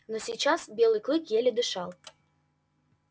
но сейчас белый клык еле дышал